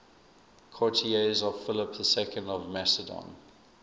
courtiers of philip ii of macedon